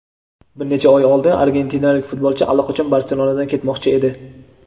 bir necha oy oldin argentinalik futbolchi allaqachon "Barselona"dan ketmoqchi edi.